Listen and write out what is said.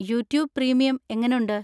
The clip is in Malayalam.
യൂട്യൂബ് പ്രീമിയം എങ്ങനുണ്ട്?